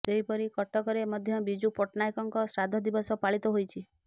ସେହିପରି କଟକରେ ମଧ୍ୟ ବିଜୁ ପଟ୍ଟନାୟକଙ୍କ ଶ୍ରାଦ୍ଧ ଦିବସ ପାଳିତ ହୋଇଛି